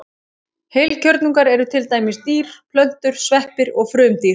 Heilkjörnungar eru til dæmis dýr, plöntur, sveppir og frumdýr.